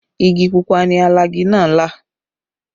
Igi pupa ni alagi náà là